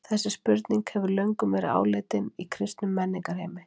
þessi spurning hefur löngum verið áleitin í kristnum menningarheimi